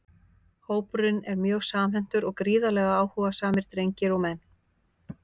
Hópurinn er mjög samhentur og gríðarlega áhugasamir drengir og menn!